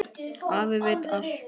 Afi veit allt.